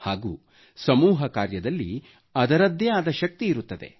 ಹಾಗೂ ಸಮೂಹ ಕಾರ್ಯದಲ್ಲಿ ಅದರದ್ದೇ ಆದ ಶಕ್ತಿ ಇರುತ್ತದೆ